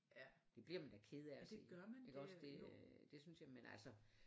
Det bliver man da ked af at se ik også det øh det synes jeg men altså